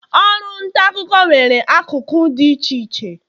oru nta akuko nwere akụkụ di iche iche.